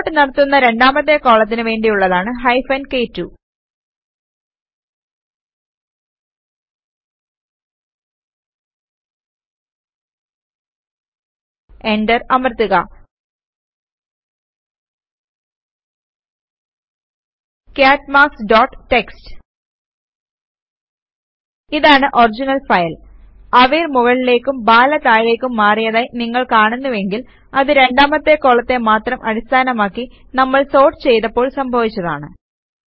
sort നടത്തുന്ന രണ്ടാമത്തെ കോളത്തിന് വേണ്ടിയുള്ളതാണ് ഹൈഫൻ കെ2 എന്റർ അമർത്തുക കാട്ട് മാർക്ക്സ് ഡോട്ട് ടിഎക്സ്ടി ഇതാണ് ഒറിജിനൽ ഫയൽ അവിർ മുകളിലേക്കും ബാല താഴേക്കും മാറിയതായി നിങ്ങൾ കാണുന്നുവെങ്കിൽ അത് രണ്ടാമത്തെ കോളത്തെ മാത്രം അടിസ്ഥാനമാക്കി നമ്മൾ സോർട്ട് ചെയ്തപ്പോൾ സംഭാവിച്ചതാണ്